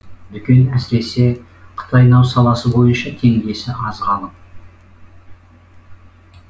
дүкен әсіресе қытайнау саласы бойынша теңдесі аз ғалым